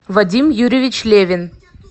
вадим юрьевич левин